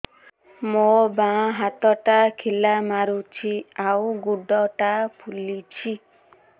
ମୋ ବାଆଁ ହାତଟା ଖିଲା ମାରୁଚି ଆଉ ଗୁଡ଼ ଟା ଫୁଲୁଚି